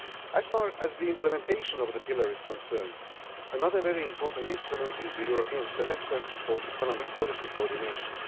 As far as the implementation of the pillar is concerned, another very important instrument is the European Semester for economic policy coordination.